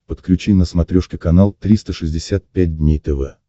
подключи на смотрешке канал триста шестьдесят пять дней тв